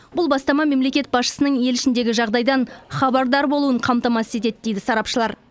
бұл бастама мемлекет басшысының ел ішіндегі жағдайдан хабардар болуын қамтамасыз етеді дейді сарапшылар